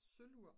sølvur